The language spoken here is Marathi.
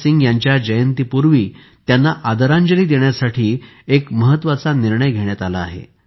भगतसिंग यांच्या जयंतीपूर्वी त्यांना आदरांजली देण्यासाठी एक महत्त्वाचा निर्णय घेण्यात आला आहे